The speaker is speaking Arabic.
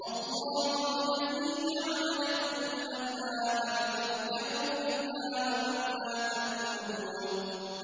اللَّهُ الَّذِي جَعَلَ لَكُمُ الْأَنْعَامَ لِتَرْكَبُوا مِنْهَا وَمِنْهَا تَأْكُلُونَ